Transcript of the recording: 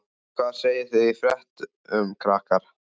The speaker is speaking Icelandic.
Hvað segið þið í fréttum, krakkar?